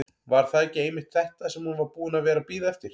Var það ekki einmitt þetta sem hún var búin að vera að bíða eftir?